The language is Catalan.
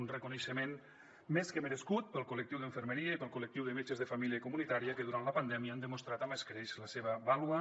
un reconeixement més que merescut pel col·lectiu d’infermeria i pel col·lectiu de metges de família i comunitària que durant la pandèmia han demostrat amb escreix la seva vàlua